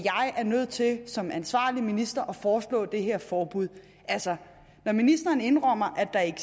er nødt til som ansvarlig minister at foreslå det her forbud altså når ministeren indrømmer at der ikke